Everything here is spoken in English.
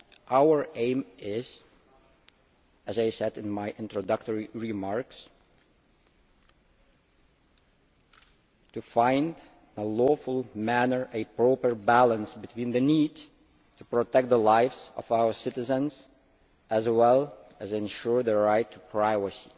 Our aim is, as I said in my introductory remarks, to find in a lawful manner a proper balance between the need to protect the lives of our citizens as well as to ensure the right to privacy.